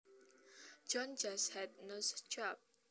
John just had a nose job